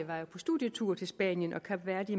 var på studietur til spanien og kap verde